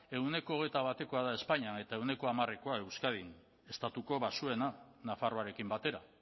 ehuneko hogeita batekoa da espainian eta ehuneko hamarekoa euskadin estatuko baxuena nafarroarekin batera